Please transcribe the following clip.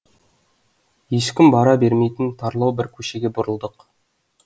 ешкім бара бермейтін тарлау бір көшеге бұрылдық